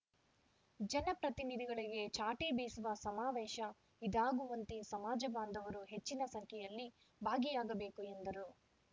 ಜನ ಪ್ರತಿನಿಧಿಗಳಿಗೆ ಚಾಟಿ ಬೀಸುವ ಸಮಾವೇಶ ಇದಾಗುವಂತೆ ಸಮಾಜ ಬಾಂಧವರು ಹೆಚ್ಚಿನ ಸಂಖ್ಯೆಯಲ್ಲಿ ಭಾಗಿಯಾಗಬೇಕು ಎಂದರು